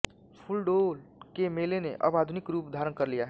फूल डोल के मेले ने अब आधुनिक रूप धारण कर लिया है